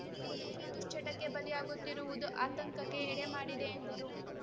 ಯುವಪೀಳಿಗೆ ದುಷ್ಚಟಕ್ಕೆ ಬಲಿ ಆಗುತ್ತಿರುವುದು ಆತಂಕಕ್ಕೆ ಎಡೆ ಮಾಡಿದೆ ಎಂದರು